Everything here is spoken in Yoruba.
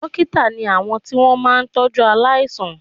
Dókítà ni àwọn tí wọ́n máa ń tọ́jú aláìsàn